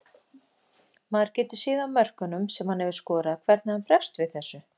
Maður getur séð á mörkunum sem hann hefur skorað hvernig hann bregst við þessu.